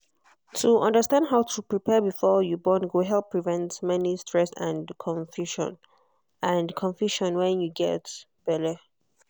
to understand how to prepare before you born go help prevent many stress and confusion and confusion when you get belle.